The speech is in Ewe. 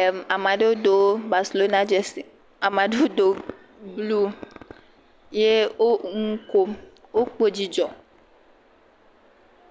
Em ame aɖewo do Baselona dzɛse. Ame aɖewo do blu ye wo nu kom. Wokpɔ dzidzɔ.